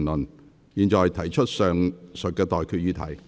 我現在向各位提出上述待決議題。